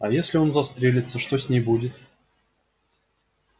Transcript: а если он застрелится что с ней будет